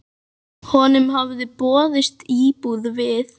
Honum hafði boðist íbúð við